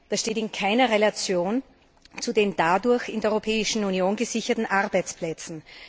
Das steht in keiner Relation zu den dadurch in der Europäischen Union gesicherten Arbeitsplätzen.